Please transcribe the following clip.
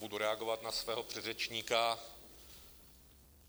Budu reagovat na svého předřečníka.